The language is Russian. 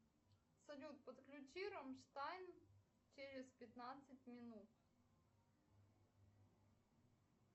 салют подключи рамштайн через пятнадцать минут